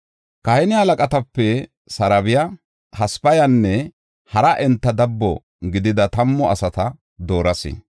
Kahine halaqatape Sarebaya, Hasabayanne hara enta dabbo gidida tammu asata dooras.